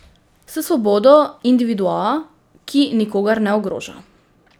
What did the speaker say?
S svobodo individua, ki nikogar ne ogroža.